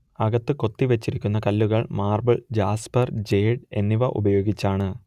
അകത്ത് കൊത്തി വച്ചിരിക്കുന്ന കല്ലുകൾ മാർബിൾ ജാസ്പർ ജേഡ് എന്നിവ ഉപയോഗിച്ചാണ്